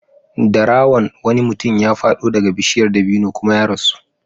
Dara wan wani mutum ya faɗo daga bishiyar dabino kuma ya rasu.